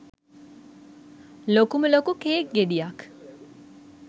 ලොකුම ලොකු කේක් ගෙඩියක්.